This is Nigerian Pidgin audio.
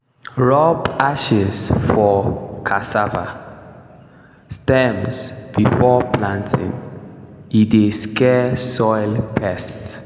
rub ashes for cassava stems before planting e dey scare soil pests.